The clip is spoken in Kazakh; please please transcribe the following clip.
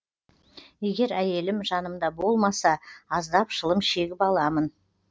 егер әйелім жанымда болмаса аздап шылым шегіп аламын